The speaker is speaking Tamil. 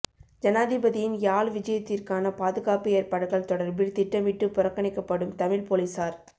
ஜனாதிபதியின் யாழ் விஐயத்திற்கான பாதுகாப்பு ஏற்பாடுகள் தொடர்பில் திட்டமிட்டு புறக்கணிக்கப்படும் தமிழ்ப் பொலிஸார்